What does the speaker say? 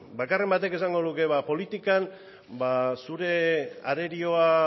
bakarren batek esango luke ba politikan zure arerioa